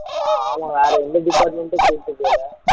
ஆமா வேற எந்த department டும் கூட்டிட்டு போகல